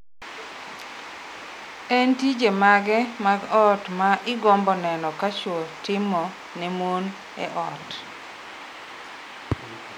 En tije mage mag ot ma igombo neno ka chwo timo ne mon e ot?